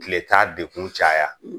Kile t'a dekun caya;